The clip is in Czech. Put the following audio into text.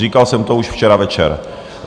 Říkal jsem to už včera večer.